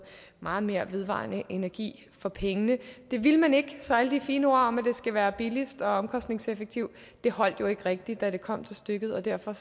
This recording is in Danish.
meget mere vedvarende energi for pengene det ville man ikke så alle de fine ord om at det skal være billigst og mest omkostningseffektivt holdt jo ikke rigtig da det kom til stykket og derfor